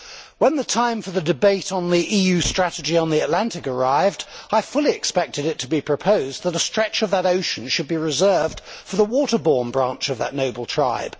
When the time for the debate on the EU strategy on the Atlantic arrived, I fully expected it to be proposed that a stretch of that ocean should be reserved for the water borne branch of that noble tribe.